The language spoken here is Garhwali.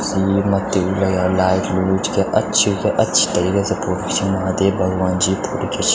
सेब मथ्थी भी लगया लाइट -लुट क्या अच्छी-अच्छी तरीके से फोटो खिचेनी महादेव भगवन जी क फोटो खिच।